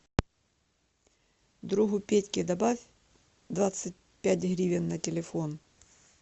другу петьке добавь двадцать пять гривен на телефон